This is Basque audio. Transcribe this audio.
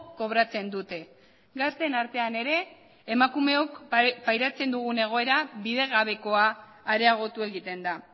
kobratzen dute gazteen artean ere emakumeok pairatzen dugun egoera bidegabekoa areagotu egiten da